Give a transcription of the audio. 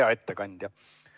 Hea ettekandja!